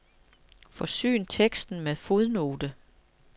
Forsyn teksten med fodnote.